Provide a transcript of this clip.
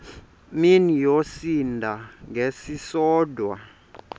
mini yosinda ngesisodwa